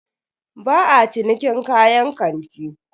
Ba a cinikin kayan kanti.